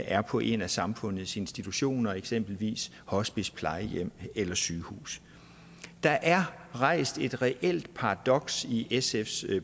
er på en af samfundets institutioner eksempelvis hospice plejehjem eller sygehus der er rejst et reelt paradoks i sfs